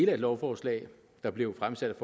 af et lovforslag der blev fremsat